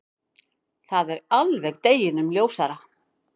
Það er alveg deginum ljósara.